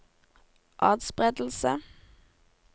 atspredelse